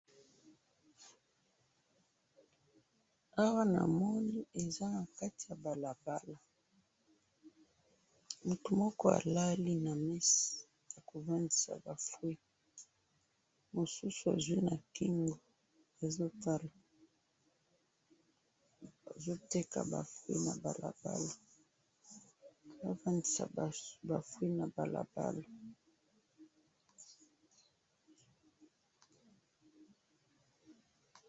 Awa namoni eza nakati yabalabala, mutu moko alali namesa, namesa yaba fruits, masusu azwi nakingo azotala, azo teka ba fruit nabalabala